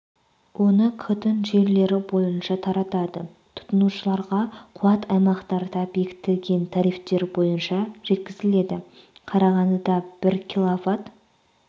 оны к-тың желілері бойынша таратады тұтынушыларға қуат аймақтарда бекітілген тарифтер бойынша жеткізіледі қарағандыда бір киловатт